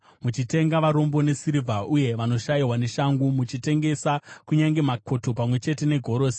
muchitenga varombo nesirivha uye vanoshayiwa neshangu, muchitengesa kunyange makoto pamwe chete negorosi.